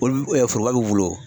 Olu foroba bɛ n bolo o.